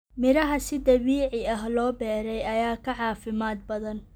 Miraha si dabiici ah loo beeray ayaa ka caafimaad badan.